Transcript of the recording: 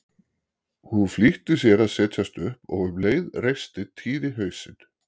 Hún flýtti sér að setjast upp og um leið reisti Týri hausinn.